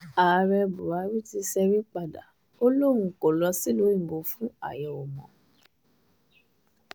ààrẹ buhari ti ṣẹ́rí padà o ò lóun kó lọ sílùú òyìnbó fún àyẹ̀wò mọ́